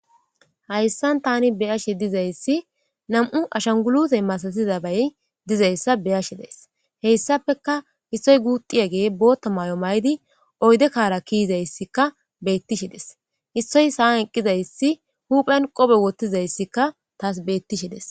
Hayssan tani be'ashe de'izayssi nam'u ashangulite masatza nay dizayssa be'ashe de'ays. Hegetapeka issoy guuxiyagey bootha mayo mayidi oyde Kara ke'idays beetishe de'es. Issoy sa'an eqidayssi huphen qoofe wothidaysi beetishe de'es.